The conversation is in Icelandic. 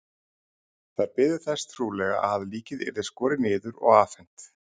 Þær biðu þess trúlega að líkið yrði skorið niður og afhent.